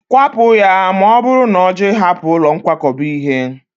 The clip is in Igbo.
Kwapụ ya, ma ọ bụrụ na ọ jụ ịhapụ ụlọ nkwakọba ihe